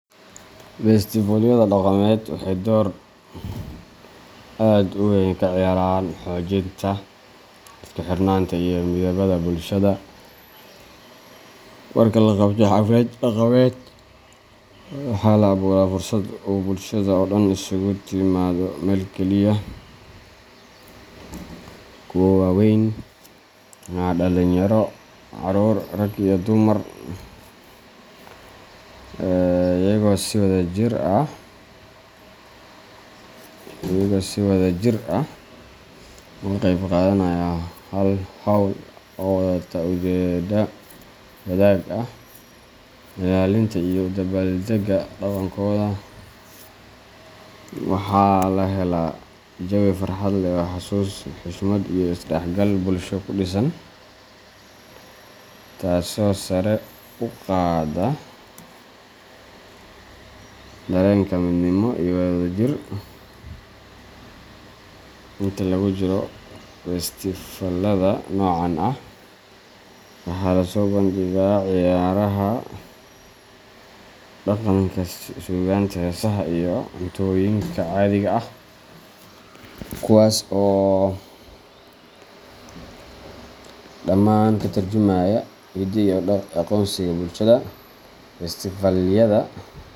Festivalyada dhaqameed waxay door aad u weyn ka ciyaaraan xoojinta isku xirnaanta iyo midnimada bulshada. Marka la qabto xaflad dhaqameed, waxa la abuuraa fursad uu bulshada oo dhan isugu timaaddo meel kaliya kuwa waaweyn, dhalinyaro, carruur, rag iyo dumar iyagoo si wadajir ah uga qeyb qaadanaya hal hawl oo wadata ujeeddo wadaag ah: ilaalinta iyo u dabbaaldegga dhaqankooda. Waxaa la helaa jawi farxad leh oo xasuus, xushmad iyo is dhexgal bulsho ku dhisan, taasoo sare u qaadda dareenka midnimo iyo wadajir. Inta lagu jiro festifaalada noocan ah, waxaa la soo bandhigaa ciyaaraha dhaqanka, suugaanta, heesaha, iyo cuntooyinka caadiga ah, kuwaas oo dhammaan ka tarjumaya hiddaha iyo aqoonsiga bulshada, Festivalyada.